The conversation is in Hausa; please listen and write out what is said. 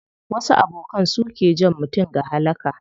Wasu abokan su ke jan mutum ga halaka.